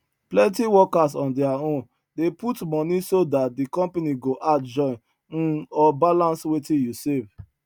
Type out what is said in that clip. plenty workers on their own dey put money so that the company go add join um or balance wetin you save